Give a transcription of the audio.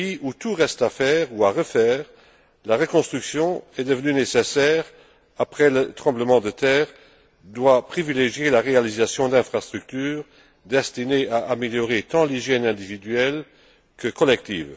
Dans un pays où tout reste à faire ou à refaire, la reconstruction est nécessaire après le tremblement de terre et doit privilégier la réalisation d'infrastructures destinées à améliorer tant l'hygiène individuelle que collective.